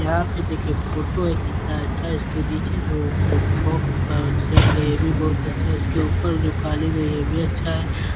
यहाँ देखिए फ़ोटो है। कितना अच्छा इसके नीचें जो फ़्राक सेट है। यह भी बहोत अच्छा है। इसके ऊपर जो कालीन है यह भी अच्छा है।